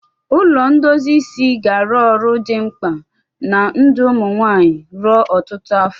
Ụlọ ndozi isi ga-arụ ọrụ dị mkpa na ndụ ụmụ nwanyị ruo ọtụtụ afọ.